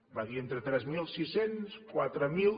va dir entre tres mil sis cents quatre mil